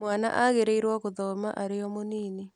Mwana agĩrĩirwo gũthoma arĩ o-mũnini.